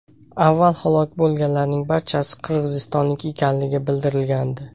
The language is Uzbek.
Avval halok bo‘lganlarning barchasi qirg‘izistonlik ekanligi bildirilgandi .